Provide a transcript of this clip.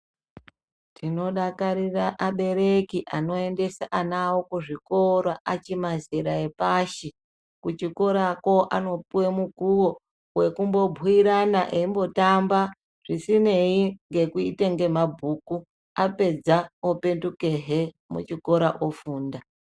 Tinodakarira abereki anoendesa ana awo kuzvikora achimazera epashi. Kuchikorako anopuwe mukuwo, wekumbobhuyirana, eyimbotamba zvisinei ngekuite ngemabhuku. Apedza opetukehe muchikora ofunda.